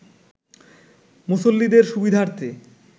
মুসল্লিদের সুবিধার্থে